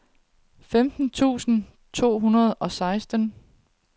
femten tusind to hundrede og seksten